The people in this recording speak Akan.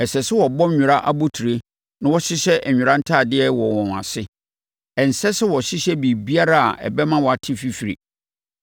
Ɛsɛ sɛ wɔbɔ nwera abotire na wɔhyehyɛ nwera ntadeɛ wɔ wɔn ase. Ɛnsɛ sɛ wɔhyehyɛ biribiara a ɛbɛma wɔate fifire.